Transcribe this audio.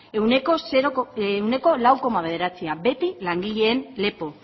ehuneko lau koma bederatzi beti langileen lepo